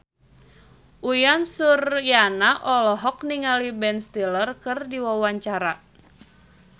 Uyan Suryana olohok ningali Ben Stiller keur diwawancara